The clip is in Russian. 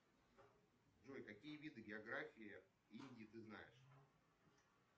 джой какие виды географии индии ты знаешь